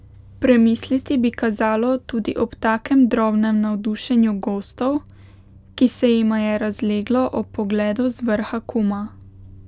Premisliti bi kazalo tudi ob takem drobnem navdušenju gostov, ki se jima je razleglo ob pogledu z vrha Kuma.